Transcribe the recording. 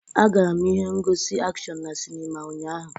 Agara m ihe ngosi akshọn na sinima ụnyaahụ.